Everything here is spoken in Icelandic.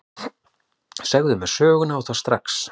Segðu mér söguna, og það strax.